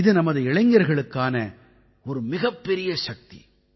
இது இன்றைய இளைஞர்களுக்கான ஒரு மிகப்பெரிய செய்தி